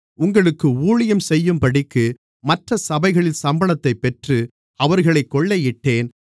உங்களுக்கு ஊழியம் செய்யும்படிக்கு மற்றச் சபைகளில் சம்பளத்தைப் பெற்று அவர்களைக் கொள்ளையிட்டேன்